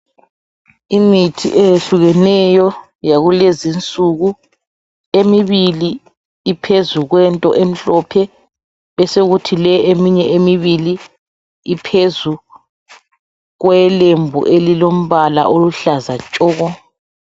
Imithi eyehlukeneyo yakulezi insuku. Emibili iphezu kwento emhlophe besokuthi le eminye emibili iphezu kwelembu elilombala oluhlaza tshoko.